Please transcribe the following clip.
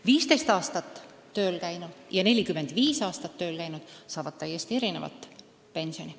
15 aastat tööl käinud ja 45 aastat tööl käinud inimene saavad täiesti erinevat pensioni.